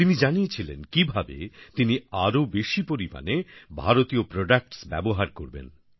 তিনি জানিয়েছিলেন কিভাবে তিনি আরো বেশি পরিমাণে ভারতীয় প্রোডাক্টস ব্যবহার করবেন